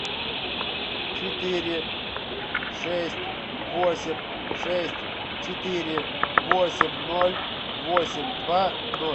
четыре шесть восемь шесть четыре восемь ноль восемь два ноль